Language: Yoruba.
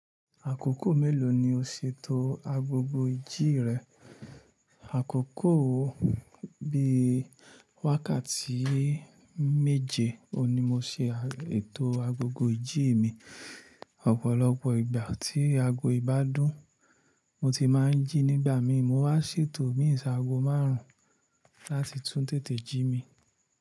Àkókò mélòó ni o ṣètò agogo ìjí rẹ? Àkókò bi wákàtí méje oun ni mo ṣe ètò agogo ìjí mi. Ọ̀pọ̀lọpọ̀ ìgbà tí ago yii bádùn mo ti máa ń jí nígbà mi mo wa ṣètò imin sàago márùn-ún láti tún tètè jí mi.